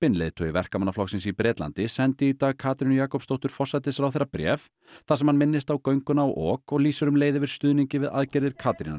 leiðtogi Verkamannaflokksins í Bretlandi sendi í Dag Katrínu Jakobsdóttur forsætisráðherra bréf þar sem hann minnist á gönguna á ok og lýsir um leið yfir stuðningi við aðgerðir Katrínar í